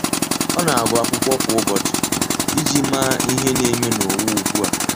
Ọ́ na agụ́ ákwụ́kwọ́ kwa ụ́bọ̀chị̀ iji màá ihe nà-ème n’ụ́wà ugbu a.